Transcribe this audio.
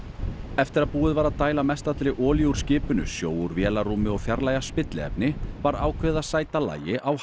eftir að búið var að dæla mestallri olíu úr skipinu sjó úr vélarrúmi og fjarlægja spilliefni var ákveðið að sæta lagi á